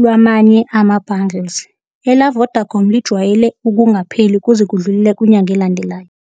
lwamanje ama-bundles. Ela-Vodacom lijwayele ukungapheleli kuze kudlulele kwinyanga elandelayo.